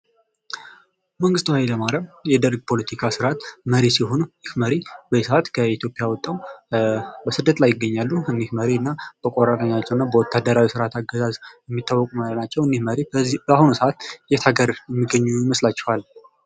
መንግስቱ ኃይለ ማርያም የደርግ ፖለቲካ ስርዓት መሪ ሲሆኑ እኝህ መሪ በአሁኑ ሰዓት ከኢትዮጵያ ወጠው በስደት ላይ ይገኛሉ ። እኝህ መሪ እና በቆራጥነታቸው እና ወታደራዊ ስርዓት አገዛዝ የሚታወቁ መሪ ናቸው ።እኝህ መሪ በአሁኑ ሰዓት የት ሀገር የሚገኙ ይመስላችኋል ?